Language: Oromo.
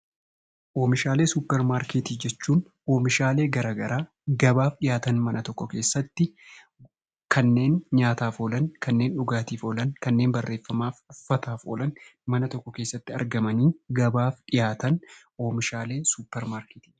Oomishaalee suupermaarkeetii jechuun oomishaalee garaagaraa gabaaf dhihaatan mana tokko keessatti kanneen nyaataaf oolan, kanneen dhugaatiif oolan, kanneen barreeffamaaf oolan, uffataaf oolan mana tokko keessatti gabaaf dhihaatan oomishaalee suupermaarkeetii jedhama.